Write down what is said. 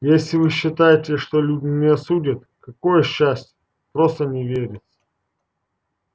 если вы считаете что люди не осудят какое счастье просто не верится